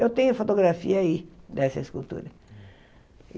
Eu tenho fotografia aí dessa escultura.